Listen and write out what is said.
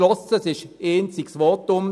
Es fiel ein einziges Votum;